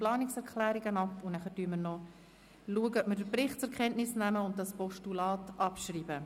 Anschliessend schauen wir, ob wir den Bericht zur Kenntnis nehmen und das Postulat abschreiben.